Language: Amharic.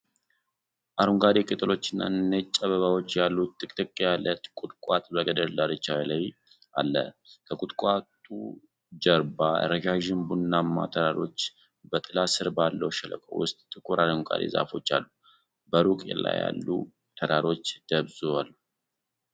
አረንጓዴ ቅጠሎችና ነጭ አበባዎች ያሉት ጥቅጥቅ ያለ ቁጥቋጦ በገደል ዳርቻ ላይ አለ። ከቁጥቋጦው ጀርባ ረዣዥም ቡናማ ተራሮች፣ በጥላ ስር ባለው ሸለቆ ውስጥ ጥቁር አረንጓዴ ዛፎች አሉ፤ በሩቅ ያሉ ተራሮች ደብዝዘው አሉ።